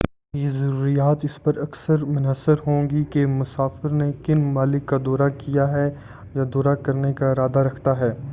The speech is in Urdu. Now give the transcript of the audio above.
یہ ضروریات اس پر اکثر منحصر ہوں گی کہ مسافر نے کن ممالک کا دورہ کیا ہے یا دورہ کرنے کا ارادہ رکھتا ہے